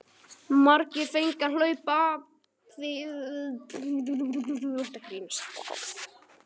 Margir fengu að hlaupa apríl þegar að þeim degi kom.